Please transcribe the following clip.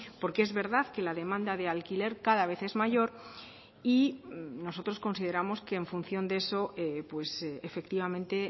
porque es verdad que la demanda de alquiler cada vez es mayor y nosotros consideramos que en función de eso efectivamente